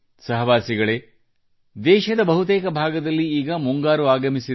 ಸಹವಾಸಿಗಳೇ ದೇಶದ ಬಹುತೇಕ ಭಾಗದಲ್ಲಿ ಈಗ ಮುಂಗಾರು ಆಗಮಿಸಿದೆ